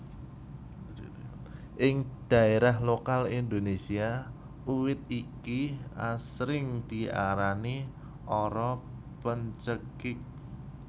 Ing daerah lokal Indonesia uwit iki asring diarani ara pencekik